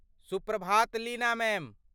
सुप्रभात लीना मैम।